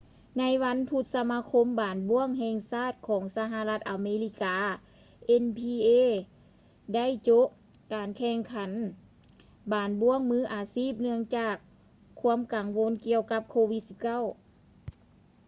ໃນວັນພຸດ ສະມາຄົມບານບ້ວງແຫ່ງຊາດຂອງສະຫະລັດອາເມລິກາ nba ໄດ້ໂຈະການແຂ່ງຂັນບານບ້ວງມືອາຊີບ ເນື່ອງຈາກຄວາມກັງວົນກ່ຽວກັບ covid-19